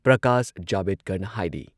ꯄ꯭ꯔꯀꯥꯁ ꯖꯥꯕꯦꯗꯀꯔꯅ ꯍꯥꯏꯔꯤ